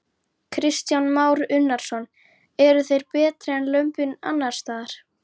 Kristján Már Unnarsson: Eru, eru þau betri en lömbin annarsstaðar?